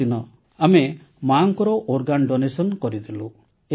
ତାପରଦିନ ଆମେ ମାର ଅଙ୍ଗଦାନ କରିଦେଲୁ